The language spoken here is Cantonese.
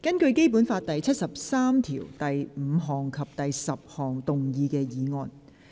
根據《基本法》第七十三條第五項及第十項動議的議案。